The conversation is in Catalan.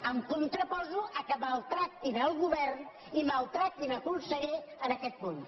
em contraposo al fet que maltractin el govern i maltractin el conseller en aquest punt